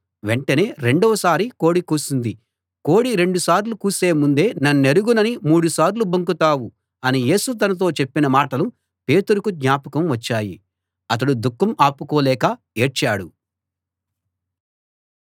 వెంటనే రెండోసారి కోడి కూసింది కోడి రెండు సార్లు కూసే ముందే నన్నెరుగనని మూడు సార్లు బొంకుతావు అని యేసు తనతో చెప్పిన మాటలు పేతురుకు జ్ఞాపకం వచ్చాయి అతడు దుఃఖం ఆపుకోలేక ఏడ్చాడు